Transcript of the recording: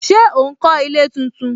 Ṣé ó ń kó ilé tuntun